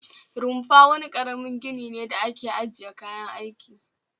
Rufa wani karamin gini ne da ake ajiye kayan aiki